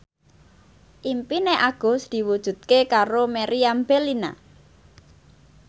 impine Agus diwujudke karo Meriam Bellina